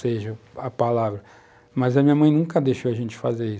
seja, a palavra, mas a minha mãe nunca deixou a gente fazer isso.